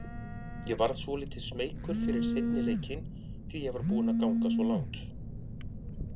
Ég varð svolítið smeykur fyrir seinni leikinn því ég var búinn að ganga svo langt.